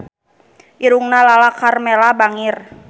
Irungna Lala Karmela bangir